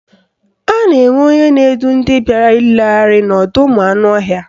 A na-enwe onye na-edu ndị bịara nlegharị n'ọdọụmụanụọhịa.